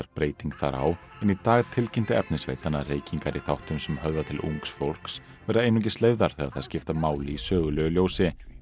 breyting þar á en í dag tilkynnti efnisveitan að reykingar í þáttum sem höfða til ungs fólks verða einungis leyfðar þegar þær skipta máli í sögulegu ljós